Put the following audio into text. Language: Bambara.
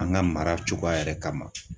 An ga mara cogoya yɛrɛ kama